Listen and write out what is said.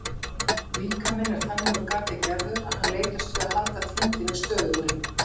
Líkaminn er þannig úr garði gerður að hann leitast við að halda þyngdinni stöðugri.